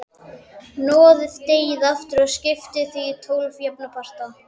Hnoðið deigið aftur og skiptið því í tólf jafna parta.